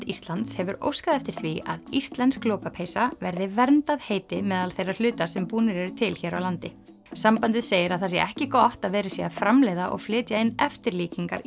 Íslands hefur óskað eftir því að íslensk lopapeysa verði verndað heiti meðal þeirra hluta sem búnir eru til hér á landi sambandið segir að það sé ekki gott að verið sé að framleiða og flytja inn eftirlíkingar